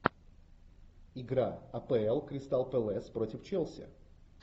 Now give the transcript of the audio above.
игра апл кристал пэлас против челси